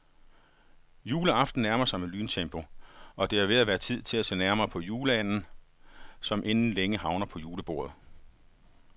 Juleaften nærmer sig i lyntempo, og det er ved at være tid til at se nærmere på juleanden, som inden længe havner på julebordet.